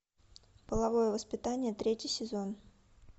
половое воспитание третий сезон